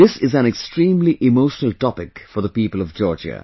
This is an extremely emotional topic for the people of Georgia